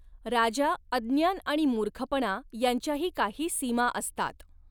राजा, अज्ञान आणि मूर्खपणा यांच्याही काही सीमा असतात.